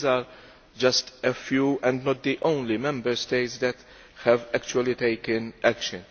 These are just a few, and not the only Member States that have actually taken action.